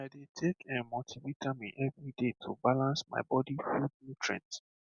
i dey take[um]multivitamin every day to balance my body food nutrient